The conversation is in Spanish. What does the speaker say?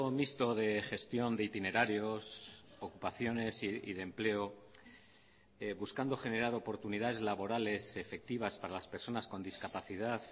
mixto de gestión de itinerarios ocupaciones y de empleo buscando generar oportunidades laborales efectivas para las personas con discapacidad